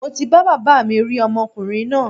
Mo ti bá baba mi rí ọmọkùrin náà